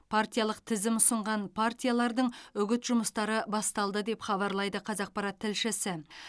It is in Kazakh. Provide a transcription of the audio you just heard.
партиялық тізім ұсынған партиялардың үгіт жұмыстары басталды деп хабарлайды қазақпарат тілшісі